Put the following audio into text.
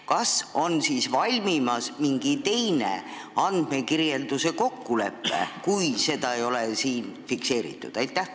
Kas on valmimas mingi teine andmekirjelduse kokkulepe, kui seda siin ei ole fikseeritud?